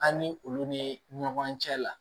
An ni olu ni ɲɔgɔn cɛ la